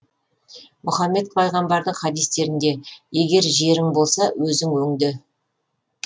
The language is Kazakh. мұхаммед пайғамбардың хадистерінде егер жерің болса өзің өңде